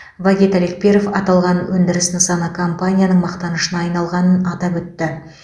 вагит алекперов аталған өндіріс нысаны компанияның мақтанышына айналғанын атап өтті